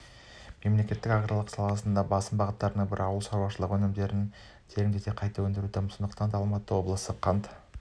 мемлекеттің аграрлық саладағы басым бағыттарының бірі ауылшаруашылық өнімдерін тереңдете қайта өңдеуді дамыту сондықтан алматы облысы қант